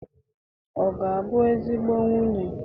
Ọ ga-abụ ezigbo nwunye?